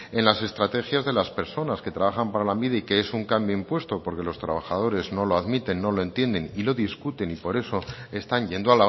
en las estrategias de las personas que trabajan para lanbide y que es un cambio impuesto porque los trabajadores no lo admiten no lo entiende y lo discuten y por eso están yendo